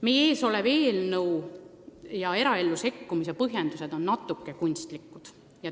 Meie ees oleva eelnõu eraellu sekkumise põhjendus on natuke kunstlik.